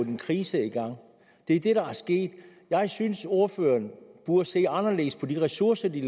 en krise i gang det er det der er sket jeg synes ordføreren burde se anderledes på de ressourcer de